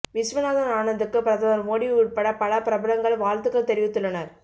விஸ்வநாதன் ஆனந்துக்கு பிரதமர் மோடி உட்பட பல பிரபலங்கள் வாழ்த்துகள் தெரிவித்துள்ளனர்